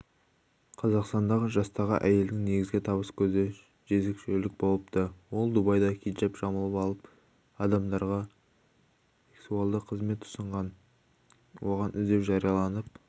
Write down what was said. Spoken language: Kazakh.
қазақстандық жастағы әйелдің негізгі табыс көзі жезөкшелік болыпты ол дубайда хиджап жамылып алып адамдарға сексуалдық қызмет ұсынған кейін оған іздеу жарияланып